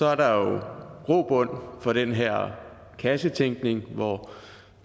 er der jo grobund for den her kassetænkning hvor